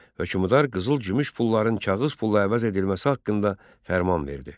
Hökmdar qızıl-gümüş pulların kağız pulla əvəz edilməsi haqqında fərman verdi.